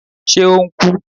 Ṣe o n ku?